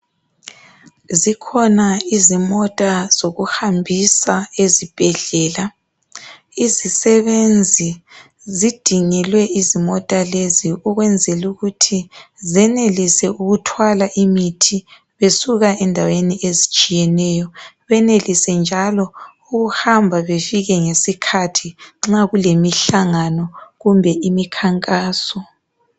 Zikhona izimota zokuhambisa ezibhedlela. Izisebenzi zidingelwe izimota lezi ukwenzelukuthi zenelise ukuthwala imithi besuka endaweni ezitshiyeneyo benelise njalo ukuhamba befike ngesikhathi nxa kulemihlangano kumbe imikhankaso.